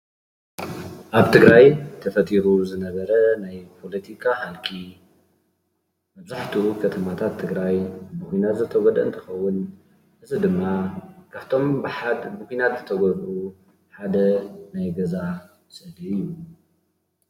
ኣብ ትግራይ ተፈጢሩ ዝነበረ ናይ ፖለቲካ ህልቂት መብዛሕትኡ ከተማታት ትግራይ ብኩናት ዝተጎድኡ እንትኸውን እዚ ድማ ካፍቶም ብሓደ ብኩናት ዝተጎድኡ ሓደ ናይ ገዛ ምስሊ እዩ።